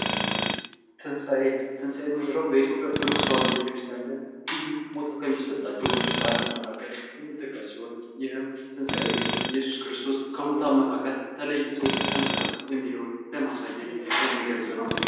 ተንሳኤ ትንሳኤ የምንለው በኢትዮጵያ ኦርቶዶክስ ተዋህዶ ቤተክርስቲያን ልዩ ቦታ ከሚሰጣቸው በዓላት መካከል የሚጠቀስ ሲሆን ይሄም ተንሳኤ ኢየሱስ ክርስቶስ ከሙታን ተለይቶ ተነስቷል የሚለውን ለማሳየት የሚገልጽ ነው።